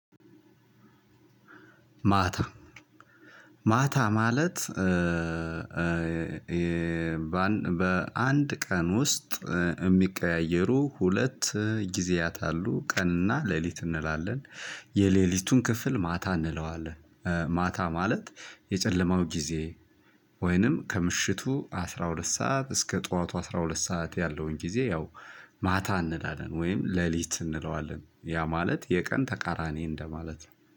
ማታ ማታ ማለት በአንድ ቀን ውስጥ የሚቀያየሩ ሁለት ግዜያት አሉ ቀን እና ለሊት እንላለን የሌሊቱን ክፍል ማታ እንላዋለን። ማታ ማለት የጨለማው ጊዜ ወይንም ከምሻቱ አስራ ሁላት ሰዓት እስከ ጠዋቱ አስራ ሁላት ሰዓት የለውን ግዜ ያው ማታ እንላለን ወይም ሌሊት እንለዋለን። ያ ማለት የቀን ተቃራኒ እንደማለት ነው